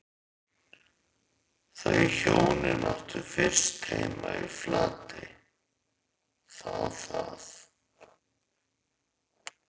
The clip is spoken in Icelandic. Þau hjónin áttu fyrst heima í Flatey, þá að